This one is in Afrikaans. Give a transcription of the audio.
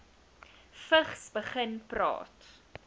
vigs begin praat